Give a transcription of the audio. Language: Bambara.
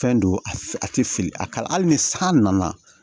Fɛn don a tɛ fili a kala hali ni san nana